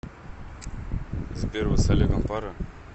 сбер вы с олегом пара